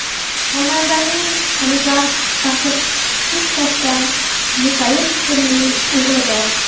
Xonandaning oligarx Bashir Kushtovdan Mikail ismli o‘g‘li bor.